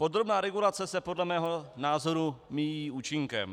Podrobná regulace se podle mého názoru míjí účinkem.